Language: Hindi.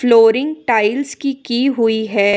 फ्लोरिंग टाइल्स की की हुई है।